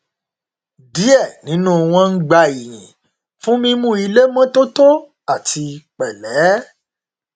díẹ nínú wọn ń gba iyìn fún mímu ilé mọtótó àti pẹlẹ